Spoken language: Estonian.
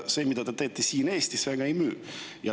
See, mida te teete siin Eestis, väga ei müü.